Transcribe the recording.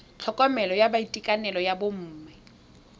tlhokomelo ya boitekanelo jwa bomme